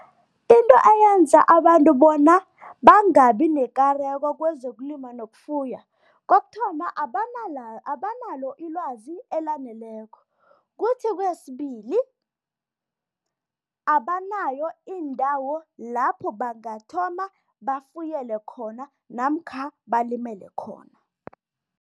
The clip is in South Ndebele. Into eyenza abantu bona bangabi nekareko kwezokulima nokufuya, kokuthoma, abanalo ilwazi elaneleko. Kuthi kwesibili, abanayo indawo lapho bangathoma bafuyele khona namkha balimele khona.